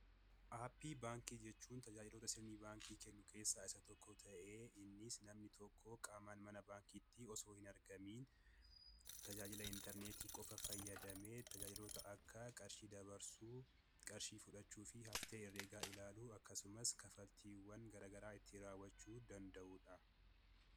Aappii baankii jechuun tajaajilota sirnii baankii kennu keessaa isa tokko ta'ee innis namni tokkoo qaamaan mana baankiitti osoo hin argamiin tajaajila intarneetii qofa fayyadamee tajaajilota akka qarshii dabarsuu, qarshii fudhachuu fi haftee herregaa ilaalu akkasumas kafaltiiwwan garagaraa itti raawwachuu danda'uudha.